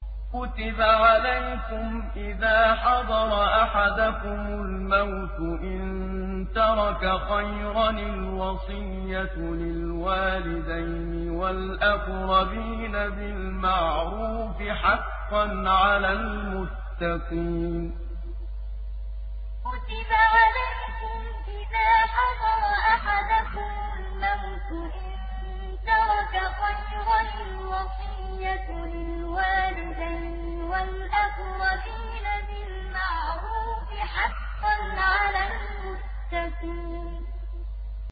كُتِبَ عَلَيْكُمْ إِذَا حَضَرَ أَحَدَكُمُ الْمَوْتُ إِن تَرَكَ خَيْرًا الْوَصِيَّةُ لِلْوَالِدَيْنِ وَالْأَقْرَبِينَ بِالْمَعْرُوفِ ۖ حَقًّا عَلَى الْمُتَّقِينَ كُتِبَ عَلَيْكُمْ إِذَا حَضَرَ أَحَدَكُمُ الْمَوْتُ إِن تَرَكَ خَيْرًا الْوَصِيَّةُ لِلْوَالِدَيْنِ وَالْأَقْرَبِينَ بِالْمَعْرُوفِ ۖ حَقًّا عَلَى الْمُتَّقِينَ